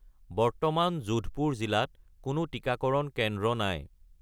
বৰ্তমান যোধপুৰ জিলাত কোনো টিকাকৰণ কেন্দ্ৰ নাই